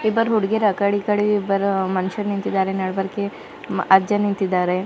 ಇಬ್ಬರ್ ಹುಡ್ಗಿಯರ್ ಆಕಡೆ ಈಕಡೆ ಇಬ್ಬರ್ ಮನುಷ್ಯರ್ ನಿಂತಿದ್ದಾರೆ ನಡುವರ್ಗೆ ಅಜ್ಜ ನಿಂತಿದ್ದಾರೆ.